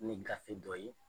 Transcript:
Ni gafe dɔ ye